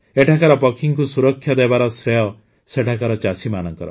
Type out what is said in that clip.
ଏଠାକାର ପକ୍ଷୀଙ୍କୁ ସୁରକ୍ଷା ଦେବାର ଶ୍ରେୟ ସେଠାକାର ଚାଷୀମାନଙ୍କର